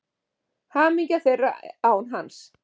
Hamingja þeirra án hans.